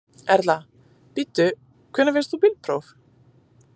Erla: Bíddu, hvenær fékkst þú bílpróf?